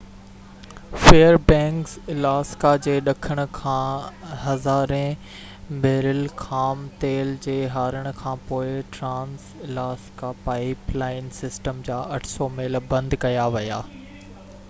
fair Banks Alaska جي ڏکڻ کان هزارين بيرل خام تيل جي هارڻ کان پوءِ ٽرانس-الاسڪا پائپ لائن سسٽم جا 800 ميل بند ڪيا ويا